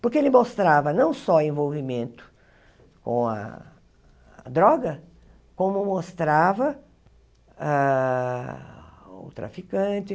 Porque ele mostrava não só envolvimento com a droga, como mostrava ah o traficante.